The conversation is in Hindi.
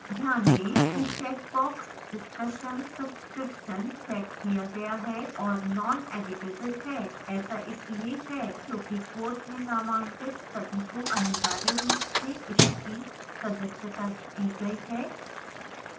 ध्यान दें कि checkbox discussion subscription checked किया गया है और noneditable है